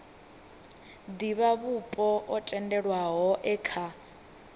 divhavhupo o tendelwaho e kha